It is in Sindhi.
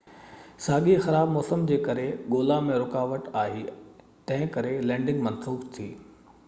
ساڳئي خراب موسم جي ڪري ڳولا ۾ رڪاوٽ آئي تنهن ڪري لينڊنگ منسوخ ٿي